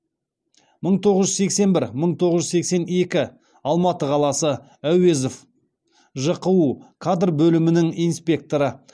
мың тоғыз жүз сексен бір мың тоғыз жүз сексен екі алматы қаласы әуезов жқу кадр бөлімінің инспекторы